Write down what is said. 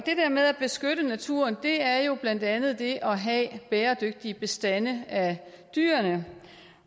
med at beskytte naturen er jo blandt andet det at have bæredygtige bestande af dyr